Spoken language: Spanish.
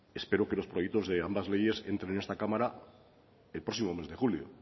espero que los proyectos de ambas leyes entren en esta cámara el próximo mes de julio